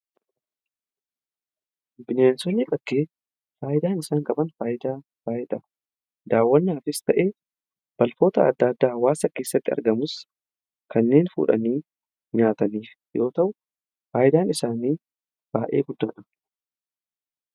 bineensonnii bakkee faayidaan isaan qaban daawwannaafis ta'ee bakkoota adda addaa hawaasa keessatti argamus kanneen fuudhanii nyaataniif yoo ta'u faayidaan isaanii baa'ee guddaadha